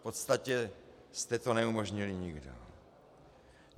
V podstatě jste to neumožnili nikdo.